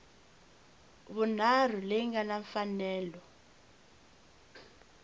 vunharhu leyi nga na mfanelo